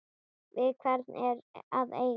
Við hvern er að eiga?